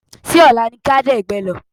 Ṣé ọ̀la ni ká dẹ̀gbẹ́ lọ́?